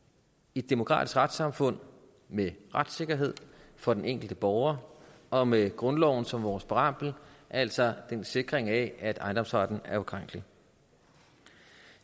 et demokratisk retssamfund med retssikkerhed for den enkelte borger og med grundloven som vores præambel altså en sikring af at ejendomsretten er ukrænkelig